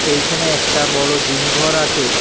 এইখানে একটা বড় জিম ঘর আছে।